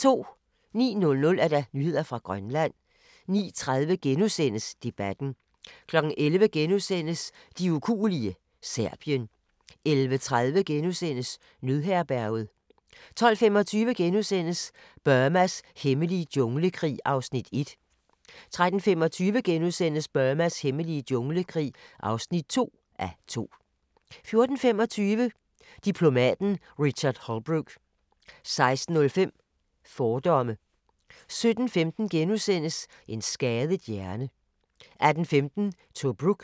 09:00: Nyheder fra Grønland 09:30: Debatten * 11:00: De ukuelige – Serbien * 11:30: Nødherberget * 12:25: Burmas hemmelige junglekrig (1:2)* 13:25: Burmas hemmelige junglekrig (2:2)* 14:25: Diplomaten Richard Holbrooke 16:05: Fordomme 17:15: En skadet hjerne * 18:15: Tobruk